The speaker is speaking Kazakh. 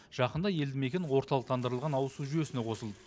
жақында елді мекен орталықтандырылған ауызсу жүйесіне қосылды